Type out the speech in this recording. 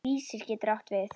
Vísir getur átt við